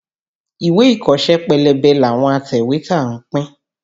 Ìwé ìkọ́ṣẹ́ pélébé làwọn atẹ̀wétà ń pín.